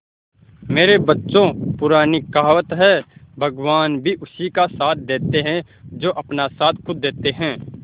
मेरे बच्चों पुरानी कहावत है भगवान भी उसी का साथ देते है जो अपना साथ खुद देते है